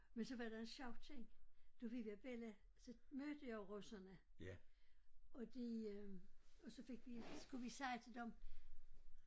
Men så var der en sjov ting da vi var bella så mødte jeg jo russerne og de øh og så fik vi skulle vi sige til dem